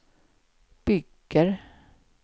bygger